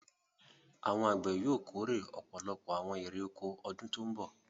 Àwọn àgbẹ̀ yóò kórè ọ̀pọ̀lọpọ̀ àwọn èrè-oko ọdún tó ń bọ̀.